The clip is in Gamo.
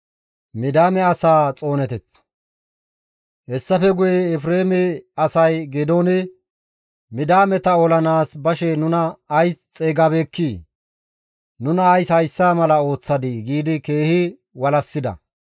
Hessafe guye Efreeme asay Geedoone, «Midiyaameta olanaas bashe nuna ays xeygabeekkii? Nuna ays hayssa mala ooththadii?» giidi keehi walassida.